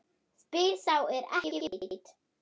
Spyr sá er ekki veit.